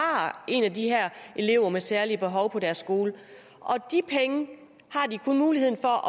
en af de her elever med særlige behov på deres skole og de penge har de kun mulighed for